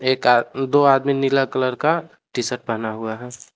एक आ दो आदमी नीला कलर का टी शर्ट पहना हुआ है।